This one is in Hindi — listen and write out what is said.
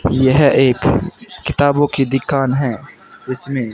यह एक किताबों की दुकान है इसमें--